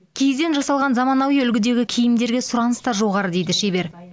киізден жасалған заманауи үлгідегі киімдерге сұраныс та жоғары дейді шебер